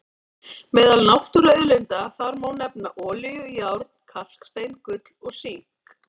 Meðal náttúruauðlinda þar má nefna olíu, járn, kalkstein, gull og sink.